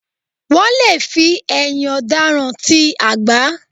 Wọ́n lè fi ẹ̀yìn ọ̀daràn ta àgbá